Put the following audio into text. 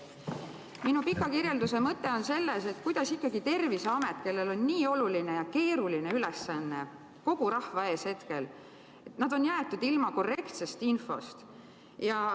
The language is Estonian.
Minu pika kirjelduse mõte on selles, et kuidas ikkagi Terviseamet, kellel on nii oluline ja keeruline ülesanne kogu rahva ees, on jäetud ilma korrektsest infost.